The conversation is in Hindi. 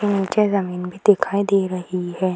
नीचे जमीन भी दिखाई दे रही है ।